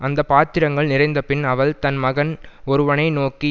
அந்த பாத்திரங்கள் நிறைந்தபின் அவள் தன் மகன் ஒருவனை நோக்கி